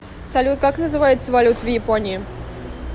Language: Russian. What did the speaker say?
салют как называется валюта в японии